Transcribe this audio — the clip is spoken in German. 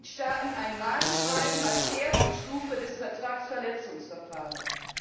Mitgliedstaaten ein Mahnschreiben als erste Stufe des Vertragsverletzungsverfahrens.